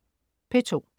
P2: